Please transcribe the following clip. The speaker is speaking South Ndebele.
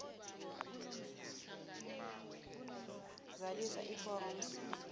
zalisa iforomo c